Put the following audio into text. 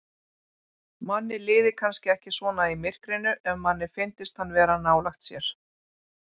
Manni liði kannski ekki svona í myrkrinu ef manni fyndist hann vera nálægt sér.